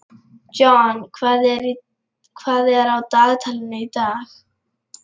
John, hvað er á dagatalinu í dag?